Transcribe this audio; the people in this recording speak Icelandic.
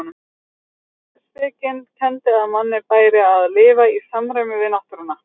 Stóuspekin kenndi að manni bæri að lifa í samræmi við náttúruna.